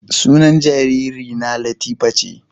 Sunan jaririna latifa ce